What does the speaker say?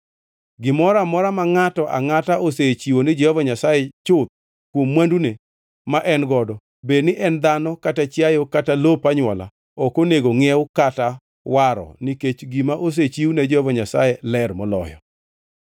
“ ‘Gimoro amora ma ngʼato angʼata osechiwo ni Jehova Nyasaye chuth kuom mwandune ma en godo, bedni en dhano kata chiayo kata lop anywola ok onego ngʼiew kata waro nikech gima osechiw ne Jehova Nyasaye ler moloyo.